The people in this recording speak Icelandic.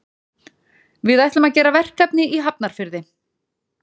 Við ætlum að gera verkefni í Hafnarfirði.